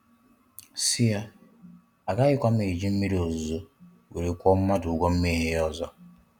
Sị ya, a gaghịkwa m ejị mmịrị ozuzo were kwuo mmadụ ugwo mmehie ha ozo.